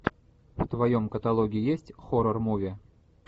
в твоем каталоге есть хоррор муви